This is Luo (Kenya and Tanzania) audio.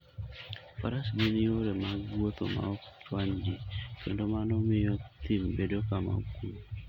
Faras gin yore mag wuoth maok chwany ji, kendo mano miyo thim bedo kama okuwe.